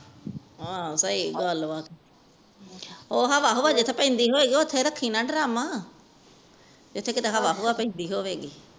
ਹਨ ਸਹੀ ਗੱਲ ਵਾ ਉਹ ਹਵਾ ਹੁਵਾ ਜਿਥੇ ਪੈਂਦੀ ਹੋਈ ਓਥੇ ਰੱਖਣਾ ਡ੍ਰਮ ਜਿਥੇ ਕੀਤੇ ਹਵਾ ਹੁਵਾ ਪੋਇੰਦੇ ਹੋਵੇ